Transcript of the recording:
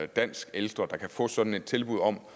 dansk ældre der kan få sådan et tilbud om